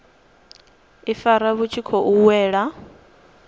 ifara vhu tshi khou wela